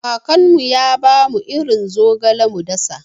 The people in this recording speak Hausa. Kakana ya bamu irin zogale mu dasa.